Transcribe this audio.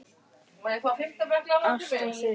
Ásta systir.